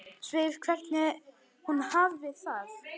Spyr hvernig hún hafi það.